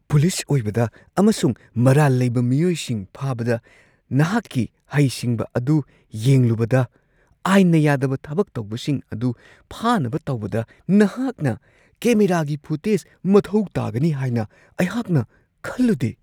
Police ꯑꯣꯏꯕꯗ ꯑꯃꯁꯨꯡ ꯃꯔꯥꯜ ꯂꯩꯕ ꯃꯤꯑꯣꯏꯁꯤꯡ ꯐꯥꯕꯗ ꯅꯍꯥꯛꯀꯤ ꯍꯩꯁꯤꯡꯕ ꯑꯗꯨ ꯌꯦꯡꯂꯨꯕꯗ, ꯑꯥꯏꯟꯅ ꯌꯥꯗꯕ ꯊꯕꯛ ꯇꯧꯕꯁꯤꯡ ꯑꯗꯨ ꯐꯥꯅꯕ ꯇꯧꯕꯗ ꯅꯍꯥꯛꯅ ꯀꯦꯃꯦꯔꯥꯒꯤ ꯐꯨꯇꯦꯖ ꯃꯊꯧ ꯇꯥꯒꯅꯤ ꯍꯥꯏꯅ ꯑꯩꯍꯥꯛꯅ ꯈꯜꯂꯨꯗꯦ ꯫ (ꯁꯤꯇꯤꯖꯟ)